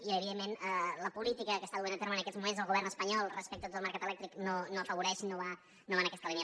i evidentment la política que està duent a terme en aquests moments el govern espanyol respecte a tot el mercat elèctric no l’afavoreix no va en aquesta línia